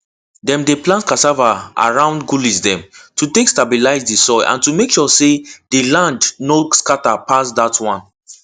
dem dey plant cassava around gullies dem to take stabilize the soil and to make sure say the land no scatter pass dat one